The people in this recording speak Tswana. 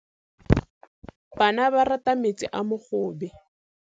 Bana ba rata metsi a mogobe.